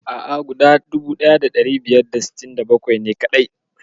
A'a, guda 1567 ne kaɗai.